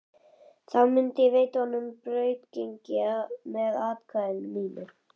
Þá myndi ég veita honum brautargengi með atkvæði mínu.